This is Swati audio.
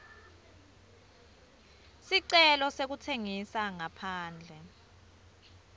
sicelo sekutsengisa ngaphandle